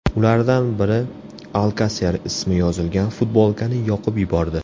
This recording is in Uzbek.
Ulardan biri Alkaser ismi yozilgan futbolkani yoqib yubordi .